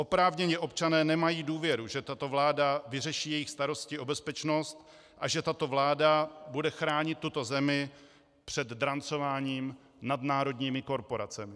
Oprávněně občané nemají důvěru, že tato vláda vyřeší jejich starosti o bezpečnost a že tato vláda bude chránit tuto zemi před drancováním nadnárodními korporacemi.